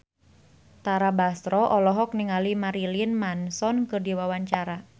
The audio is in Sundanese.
Tara Basro olohok ningali Marilyn Manson keur diwawancara